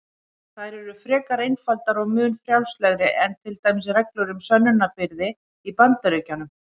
Þær eru frekar einfaldar og mun frjálslegri en til dæmis reglur um sönnunarbyrði í Bandaríkjunum.